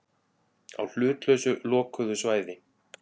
Á hlutlausu lokuðu svæði.